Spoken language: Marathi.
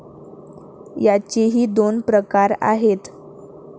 याचेही दोन प्रकार आहेत.